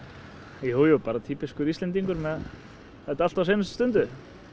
jú bara týpískur Íslendingur með þetta allt á seinustu stundu